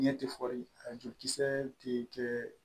Ɲɛtiri a jolikisɛ tɛ kɛ